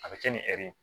A bɛ kɛ ni ɛri ye